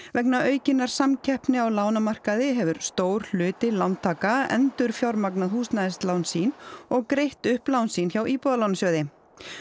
vegna aukinnar samkeppni á lánamarkaði hefur stór hluti lántaka endurfjármagnað húsnæðislán sín og greitt upp lán sín hjá Íbúðalánasjóði